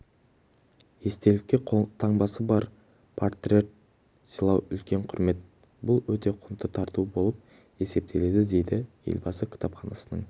естелікке қолтаңбасы бар портрет сыйлау үлкен құрмет бұл өте құнды тарту болып есептеледі дейді елбасы кітапханасының